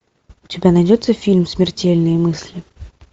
у тебя найдется фильм смертельные мысли